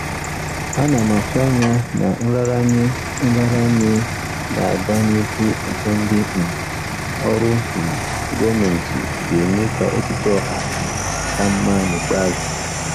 Ana m atụ anya na nraranye nraranye na-aga n'ihu nke ndị um ọrụ um gọọmentị ga-eme ka echiche ọha um ka mma n'ikpeazụ.